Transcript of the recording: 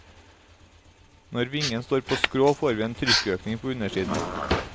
Når vingen står på skrå får vi en trykkøkning på undersiden.